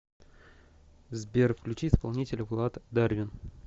сбер включи исполнителя влад дарвин